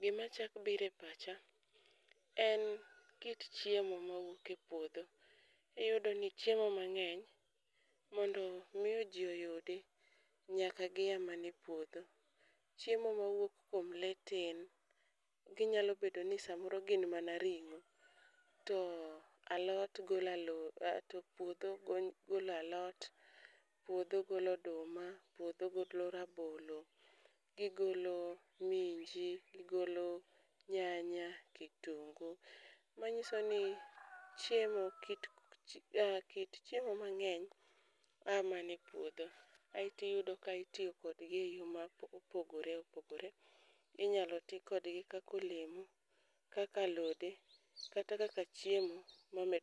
gima chak bire pacha en kit chiemo mawuok e puodho. Iyudo ni chiemo mang'eny mondo miyo ji oyudi, nyaka gia mana a epuodho. Chiemo mawuok kuom lee tin, ginyalo bedo ni smaoro gin mana ring'o. To alot golo alo to puodho golo alot, puodho golo oduma, puodho golo rabolo. Gigolo minji, gigolo nyanya, kitungu, manyiso ni chiemo aa kit chiemo mang'eny a mana e puodho. Aeti yudo ka itiyo kodgi e yo ma opogore opogore, inyalo ti kodgi kako olemo, kaka alode, kata kaka chiemo ma med.